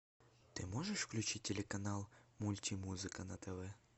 ты можешь включить телеканал мультимузыка на тв